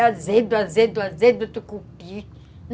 É azedo, azedo, azedo do tucupi.